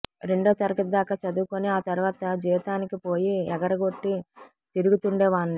రెండోతరగతి దాకా చదువుకొని ఆ తర్వాత జీతానికి పోయి ఎగరగొట్టి తిరుగుతుండేవాణ్ణి